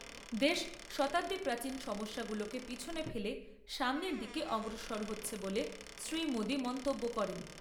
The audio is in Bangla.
দেশ শতাব্দী প্রাচিন সমস্যাগুলোকে পেছনে ফেলে সামনের দিকে অগ্রসর হচ্ছে বলে শ্রী মোদি মন্তব্য করেন।